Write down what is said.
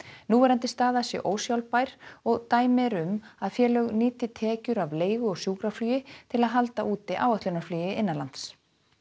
núverandi staða sé ósjálfbær og dæmi eru um að félög nýti tekjur af leigu og sjúkraflugi til að halda úti áætlunarflugi innanlands